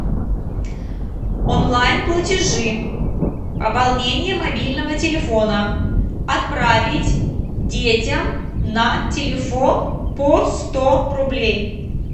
онлайн платежи пополнение мобильного телефона отправить детям на телефон по сто рублей